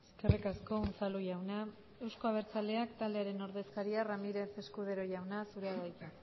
eskerrik asko unzalu jauna euzko abertzaleak taldearen ordezkaria ramírez escudero jauna zurea da hitza